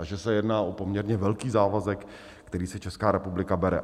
A že se jedná o poměrně velký závazek, který si Česká republika bere.